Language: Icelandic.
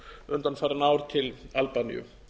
undanfarin ár til albaníu